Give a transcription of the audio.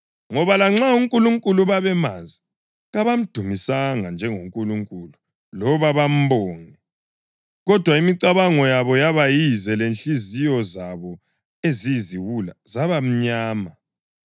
Ngoba lanxa uNkulunkulu babemazi, kabamdumisanga njengoNkulunkulu loba bambonge, kodwa imicabango yabo yaba yize lezinhliziyo zabo eziyiziwula zaba mnyama.